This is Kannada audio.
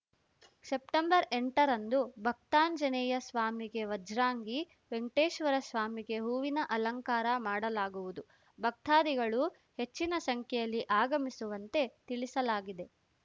ಸೆಪ್ಟೆಂಬರ್ಎಂಟರಂದು ಭಕ್ತಾಂಜನೇಯಸ್ವಾಮಿಗೆ ವಜ್ರಾಂಗಿ ವೆಂಕಟೇಶ್ವರಸ್ವಾಮಿಗೆ ಹೂವಿನ ಅಲಂಕಾರ ಮಾಡಲಾಗುವುದು ಭಕ್ತಾಧಿಗಳು ಹೆಚ್ಚಿನ ಸಂಖ್ಯೆಯಲ್ಲಿ ಆಗಮಿಸುವಂತೆ ತಿಳಿಸಲಾಗಿದೆ